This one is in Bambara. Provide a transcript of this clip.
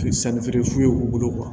sannifeere f'u y'u bolo